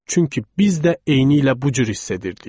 Çünki biz də eynilə bu cür hiss edirdik.